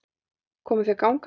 Komuð þér gangandi?